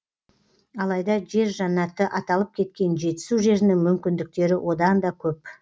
алайда жер жәннаты аталып кеткен жетісу жерінің мүмкіндіктері одан да көп